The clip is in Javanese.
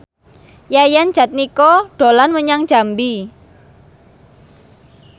Yayan Jatnika dolan menyang Jambi